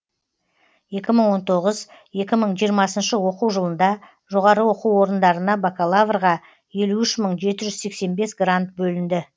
екі мың он тоғыз екі мың жиырмасыншы оқу жылында жоғары оқу орындарына бакалаврға елу үш мың жеті жүз сексен бес грант бөлінді